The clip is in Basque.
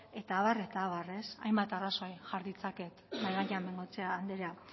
eta abar eta abar hainbat arrazoi jar ditzaket mahai gainean bengoechea andrea